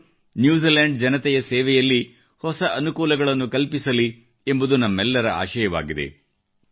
ಅವರು ನ್ಯೂಜಿಲೆಂಡ್ ಜನತೆಯ ಸೇವೆಯಲ್ಲಿ ಹೊಸ ಅನುಕೂಲಗಳನ್ನು ಕಲ್ಪಿಸಲಿ ಎಂಬುದು ನಮ್ಮೆಲ್ಲರ ಆಶಯವಾಗಿದೆ